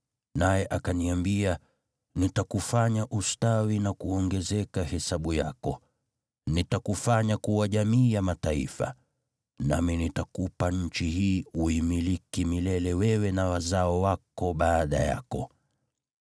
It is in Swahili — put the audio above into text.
naye akaniambia, ‘Nitakufanya ustawi na kuongezeka hesabu yako, nitakufanya kuwa jamii ya mataifa, nami nitakupa nchi hii uimiliki milele wewe na wazao wako baada yako.’